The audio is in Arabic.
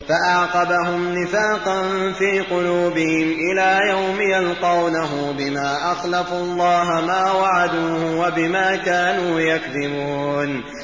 فَأَعْقَبَهُمْ نِفَاقًا فِي قُلُوبِهِمْ إِلَىٰ يَوْمِ يَلْقَوْنَهُ بِمَا أَخْلَفُوا اللَّهَ مَا وَعَدُوهُ وَبِمَا كَانُوا يَكْذِبُونَ